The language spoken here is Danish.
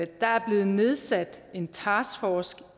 der er blevet nedsat en taskforce